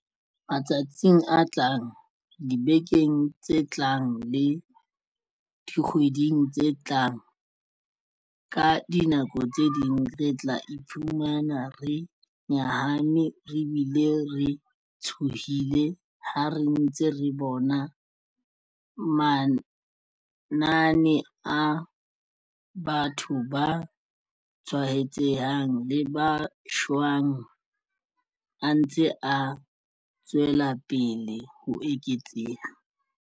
Matsatsing a tlang, dibekeng tse tlang le dikgweding tse tlang, ka dinako tse ding re tla iphumana re nyahame re bile re tshohile ha re ntse re bona manane a batho ba tshwaetsehang le ba shwang a ntse a tswelapele ho eketseha.